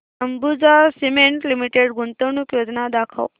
Ambuja cement limited गुंतवणूक योजना दाखव